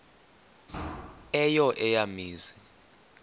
eyo eya mizi